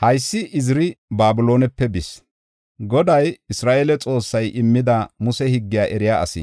Haysi Iziri Babiloonepe bis. Goday, Isra7eele Xoossay immida Muse higgiya eriya asi.